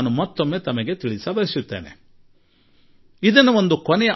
ಇದು ಒಂದು ಕಡೆಯ ಅವಕಾಶ ಎಂದು ತಿಳಿಯಿರಿ ಎಂದೂ ಜನತೆಗೆ ನಾನು ಹೇಳುತ್ತೇನೆ